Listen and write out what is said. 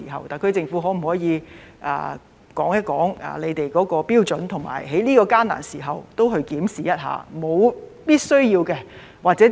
特區政府可否說說他們的標準，以及在這個艱難的時刻，也會檢視一下這是否屬必需？